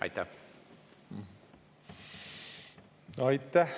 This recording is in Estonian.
Aitäh!